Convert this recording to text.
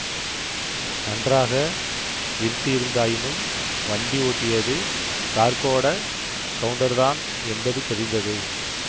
நன்றாக இருட்டியிருந்தாயினும் வண்டி ஓட்டியது கார்க்கோடக் கவுண்டர்தான் என்பது தெரிந்தது